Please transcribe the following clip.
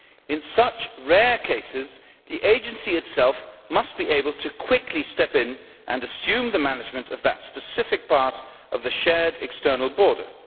In such rare cases, the Agency itself must be able to quickly step in and assume the management of that specific part of the shared external border.